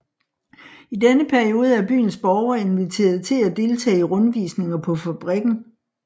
I denne periode er byens borgere inviteret til at deltage i rundvisninger på fabrikken